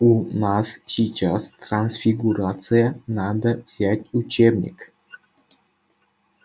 у нас сейчас трансфигурация надо взять учебник